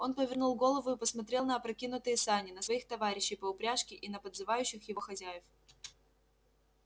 он повернул голову и посмотрел на опрокинутые сани на своих товарищей по упряжке и на подзывающих его хозяев